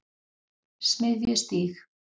Smiðjustíg